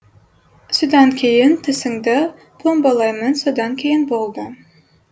содан кейін тісіңді пломбалаймын содан кейін болды